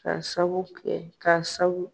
Ka sabu kɛ, ka sabu.